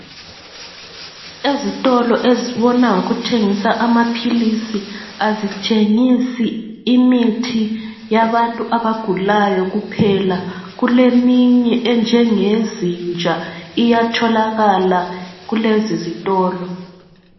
Ezitolo ezibona ngokuthengisa amaphilisi ,azithengisi imithi yabantu abagulayo kuphela. Kuleminye enjengeyezinja iyatholakala kulezi zitolo.